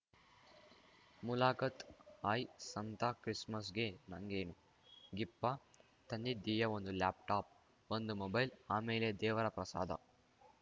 ಮುಲಾಕಾತ್‌ hi Santa ಕ್ರಿಸ್‌ಮಸ್‌ಗೆ ನಂಗೇನು ಗಿಫಾ ತಂದಿದೀಯಾ ಒಂದು ಲ್ಯಾಪ್‌ಟಾಪ್‌ ಒಂದು ಮೊಬೈಲ್ ಆಮೇಲೆ ದೇವರ ಪ್ರಸಾದ